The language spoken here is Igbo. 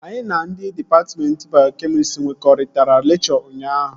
Anyị na ndị dịpatmentị bayokemịstrị nkwekọrịtara lekchọ ụnyaahụ